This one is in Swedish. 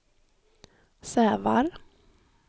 Sävar